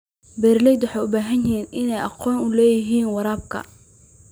Beeraleydu waxay u baahan yihiin inay aqoon u leeyihiin waraabka.